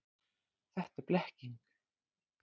Það er blekking.